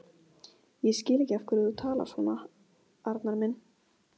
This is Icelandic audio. Ég skil ekki af hverju þú talar svona, Arnar minn.